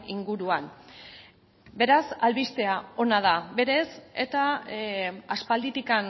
inguruan beraz albistea ona da berez eta aspalditik